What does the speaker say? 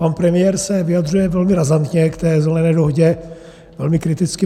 Pan premiér se vyjadřuje velmi razantně k té Zelené dohodě, velmi kriticky.